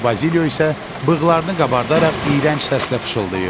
pişik Bazilyo isə bığlarını qabardaraq iyrənc səslə fısıldayırdı.